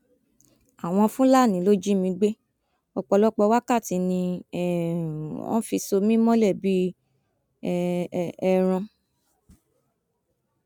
àwọn fúlàní ló jí mi gbé ọpọlọpọ wákàtí ni um wọn fi so mí mọlẹ bíi um ẹran